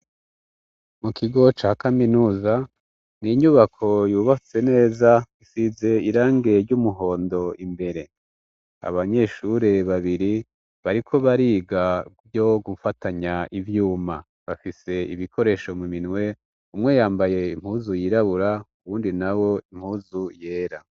Mu kigo ca kaminuza ni inyubako yubatse neza isize irange ry'umuhondo imbere abanyeshure babiri bariko bariga ryo gufatanya ivyuma bafise ibikoresho mu minwe umwe yambaye impuzu yirabura uwundi na wo impu zu yera.